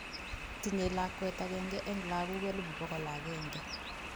Tinye lakwet agenge eng' lagok 100,000